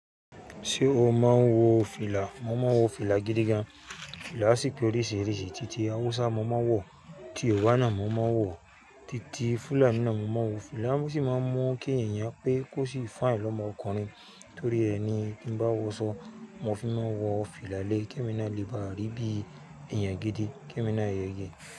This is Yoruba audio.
Ṣé o máa ń wo fìlà? Mo máa ń wo fìlà gidi gan. Fìlà sì pé oríṣìíríṣìí, títí Hausa mo máa ń wọ, títí Yorùbá náà mo máa ń wọ, títí Fúlàní náà mo máa ń wo fìlà. Wọ́n sì máa ń mu ki eeyan pé kò sí fine lọ́mọ ọkùnrin torí ẹni kí ń bá wọṣọ, mo fi máa n wọ fìlà lé ki emi náà léba rí bí èèyàn gidi, ki emi náà ìyẹ̀yẹ.